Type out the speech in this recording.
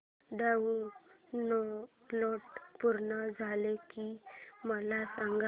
download पूर्ण झालं की मला सांग